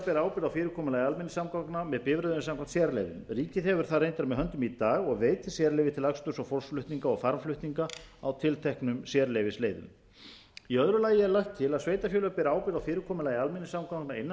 bera ábyrgð á fyrirkomulagi almenningssamgangna með bifreiðum samkvæmt sérleyfum ríkið hefur það greinar með höndum í dag og veitir sérleyfi til aksturs og fólksflutninga og farmflutninga á tilteknum sérleyfisleiðum í öðru lagi er lagt til að sveitarfélög beri ábyrgð á fyrirkomulagi almenningssamgangna innan